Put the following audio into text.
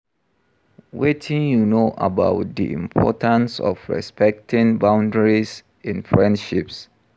wetin you know about di importance of respecting boundiaries in friendships?